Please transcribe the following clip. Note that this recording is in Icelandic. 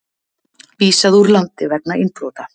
Vísað úr landi vegna innbrota